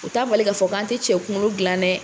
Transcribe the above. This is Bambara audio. O t'a bali ka fɔ k'an te cɛ kunkolo gilan dɛ!